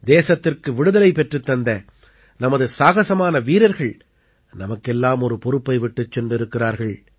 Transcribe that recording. தேசத்திற்கு விடுதலை பெற்றுத்தந்த நமது சாகஸமான வீரர்கள் நமக்கெல்லாம் ஒரு பொறுப்பை விட்டுச் சென்றிருக்கிறார்கள்